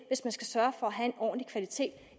hvis man skal sørge for at have en ordentlig kvalitet